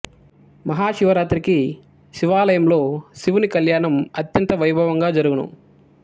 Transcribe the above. మహాశివ రాత్రికి శివాలయంలో శివుని కళ్యాణం అత్యంత వైభవంగా జరుగును